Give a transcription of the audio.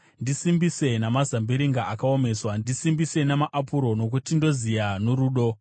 Ndisimbise namazambiringa akaomeswa, ndisimbise namaapuro; nokuti ndoziya norudo.